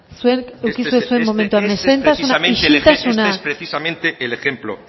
zuen eduki duzue zuen momentua mesedez isiltasuna ese es precisamente este es precisamente el ejemplo